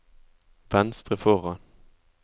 venstre foran